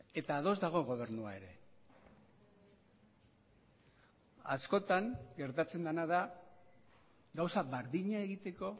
eta ados dago gobernua ere askotan gertatzen dena da gauza berdina egiteko